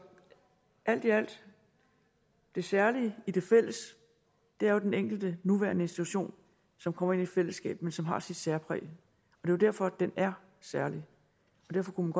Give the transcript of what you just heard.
alt i alt det særlige i det fælles er jo den enkelte nuværende institution som kommer ind i fællesskabet men som har sit særpræg det er jo derfor den er særlig derfor kunne